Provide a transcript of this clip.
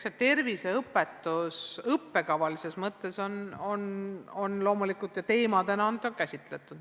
Eks seda terviseõpetust õppekava mõttes ja teemadena on käsitletud.